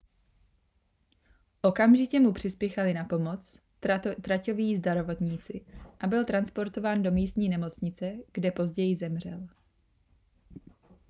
okamžitě mu přispěchali na pomoc traťoví zdravotníci a byl transportován do místní nemocnice kde později zemřel